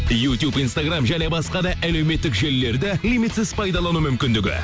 ютуб инстаграм және басқа да әлеуметтік желілерді лимитсіз пайдалану мүмкіндігі